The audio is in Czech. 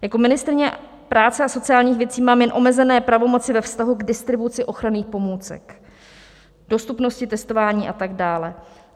Jako ministryně práce a sociálních věcí mám jen omezené pravomoci ve vztahu k distribuci ochranných pomůcek, dostupnosti testování a tak dále.